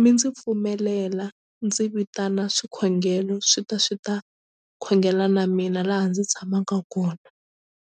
mi ndzi pfumelela ndzi vitana swikhongelo swi ta swi ta khongela na mina laha ndzi tshamaka kona.